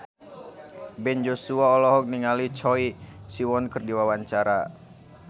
Ben Joshua olohok ningali Choi Siwon keur diwawancara